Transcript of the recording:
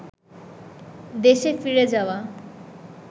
দেশে ফিরে যাওয়া